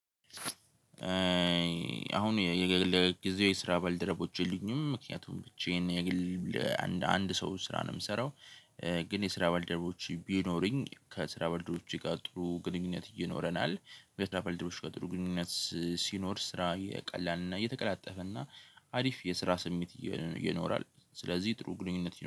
አሁን የግል ጊዜው የስራ ባልደረቦች የሉኝም። ምክንያቱም ብቻዬን የግል አንድ ሰው ስራ ነው የምሰራው። ግን የስራ ባልደረቦች ቢኖሩኝ ከስራ ባልደረቦቼ ጋር ጥሩ ግንኙነት ይኖረናል። በስራ ባልደረቦች ጋር ጥሩ ግንኙነት ሲኖር ስራ የቀላልና የተቀላጠፈና አሪፍ የስራ ስሜት ይኖራል። ስለዚህ ጥሩ ግንኙነት